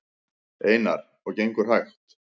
Einar: Og gengur hægt?